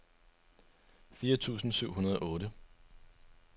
fire tusind syv hundrede og otte